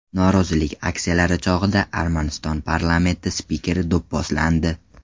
Norozilik aksiyalari chog‘ida Armaniston parlamenti spikeri do‘pposlandi.